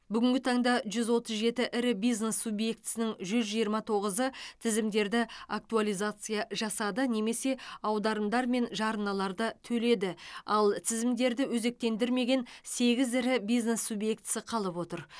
бүгінгі таңда жүз отыз жеті ірі бизнес субъектісінің жүз жиырма тоғызы тізімдерді актуализация жасады немесе аударымдар мен жарналарды төледі ал тізімдерді өзектендірмеген сегіз ірі бизнес субъектісі қалып отыр